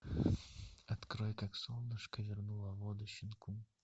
открой как солнышко вернуло воду щенку